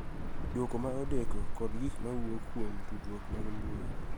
Dwoko ma odeko kod gik ma wuok kuom tudruok mag mbui